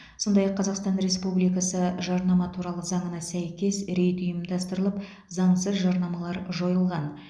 сондай ақ қазақстан республикасы жарнама туралы заңына сәйкес рейд ұйымдастырылып заңсыз жарнамалар жойылған